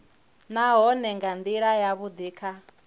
nahone nga ndila yavhudi kha